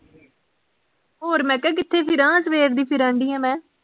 ਹੋਰ ਮੈਂ ਕਿਹਾ ਕਿਥੇ ਫਿਰਾਂ ਸਵੇਰ ਦੀ ਫਿਰਨ ਡੀ ਆਂ ਮੈਂ